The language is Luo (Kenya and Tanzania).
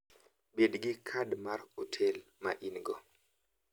Bed gi kad mar hotel ma in-go.